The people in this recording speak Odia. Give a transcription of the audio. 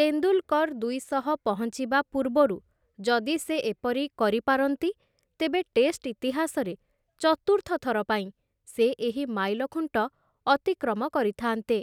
ତେନ୍ଦୁଲ୍‌କର୍‌ ଦୁଇଶହ ପହଞ୍ଚିବା ପୂର୍ବରୁ ଯଦି ସେ ଏପରି କରିପାରନ୍ତି, ତେବେ ଟେଷ୍ଟ୍‌ ଇତିହାସରେ ଚତୁର୍ଥ ଥର ପାଇଁ, ସେ ଏହି ମାଇଲଖୁଣ୍ଟ ଅତିକ୍ରମ କରିଥାନ୍ତେ ।